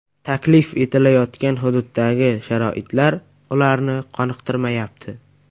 Taklif etilayotgan hududdagi sharoitlar ularni qoniqtirmayapti.